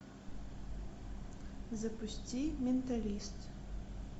запусти менталист